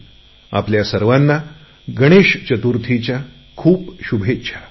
आपल्या सर्वांना गणेशचतुर्थीच्या खूप शुभेच्छा देतो